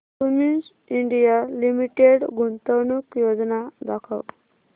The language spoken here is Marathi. क्युमिंस इंडिया लिमिटेड गुंतवणूक योजना दाखव